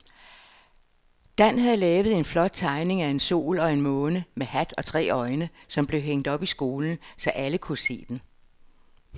Dan havde lavet en flot tegning af en sol og en måne med hat og tre øjne, som blev hængt op i skolen, så alle kunne se den.